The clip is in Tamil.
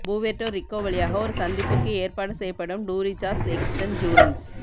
புவேர்ட்டோ ரிக்கோ வழியாக ஒரு சந்திப்பிற்கு ஏற்பாடு செய்யப்படும் டூரிசாஸ் எக்ஸ்டன்ஜீரன்ஸ்